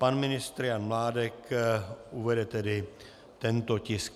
Pan ministr Jan Mládek uvede tedy tento tisk.